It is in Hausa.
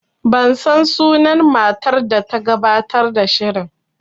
Ban san sunan matar da ta gabatar da shirin